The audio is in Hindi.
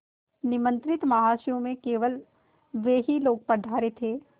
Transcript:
निमंत्रित महाशयों में से केवल वे ही लोग पधारे थे